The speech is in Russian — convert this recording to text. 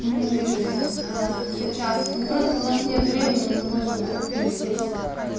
не вижусь сейчас ну просто у нас нет времени мы не можем никак пересечься